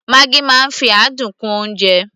maggi máa ń fi adùn kún oúnjẹ